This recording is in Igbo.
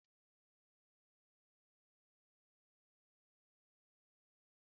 Sụpágètị̀ bụ ụdị pàsta a na-eji n'Imo steeti